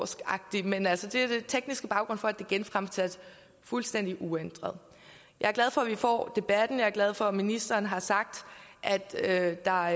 agtigt men altså den tekniske baggrund for at det er genfremsat fuldstændig uændret jeg er glad for at vi får debatten jeg er glad for at ministeren har sagt at der